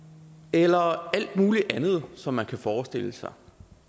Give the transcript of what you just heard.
eller alt mulig andet som man kan forestille sig